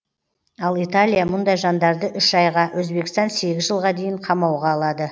ал италия мұндай жандарды үш айға өзбекстан сегіз жылға дейін қамауға алады